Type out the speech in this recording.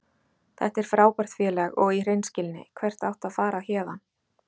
Þetta er frábært félag og í hreinskilni, hvert áttu að fara héðan?